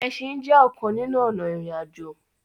Ẹsìn jé ọkàn nínú ònà irin-ajo.